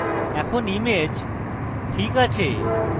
এখন image ok আছে